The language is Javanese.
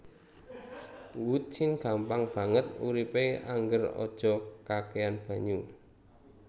Who tin gampang banget uripe angger aja kakehan banyu